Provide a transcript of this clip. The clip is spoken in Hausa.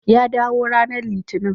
Ya dawo ranar Litinin.